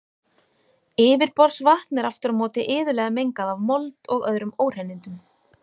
Yfirborðsvatn er aftur á móti iðulega mengað af mold og öðrum óhreinindum.